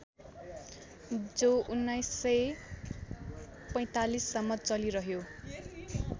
जो १९४५ सम्म चलिरह्यो